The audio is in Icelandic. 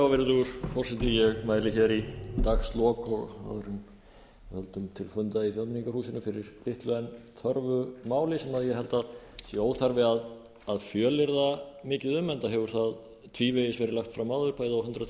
virðulegur forseti ég mæli í dagslok og áður en við höldum til funda í þjóðmenningarhúsinu fyrir litlu en þörfu máli sem ég held að sé óþarfi að fjölyrða mikið um enda hefur það tvívegis verið lagt fram áður bæði á hundrað